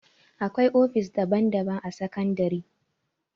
Akwai ofis daban daban a sakandare